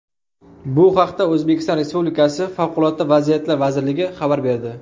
Bu haqda O‘zbekiston Respublikasi Favqulodda vaziyatlar vazirligi xabar berdi .